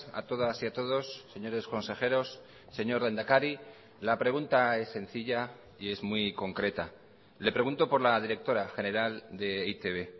a todas y a todos señores consejeros señor lehendakari la pregunta es sencilla y es muy concreta le pregunto por la directora general de e i te be